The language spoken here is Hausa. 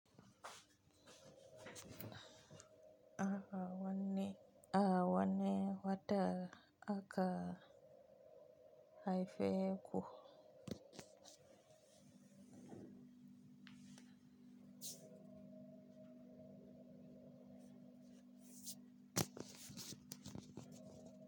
Awa wanne, a wanne wata aka haife ku.